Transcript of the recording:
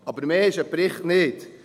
Aber mehr ist ein Bericht nicht.